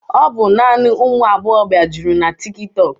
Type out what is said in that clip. Ọ bụ naanị ụmụ agbọghọbịa juru na tiki tọọk.